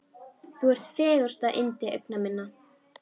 Þú ert fegursta yndi augna minna.